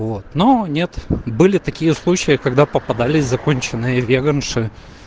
вот но нет были такие случаи когда попадались законченные веганши